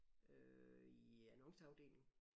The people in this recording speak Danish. Øh i annonceafdelingen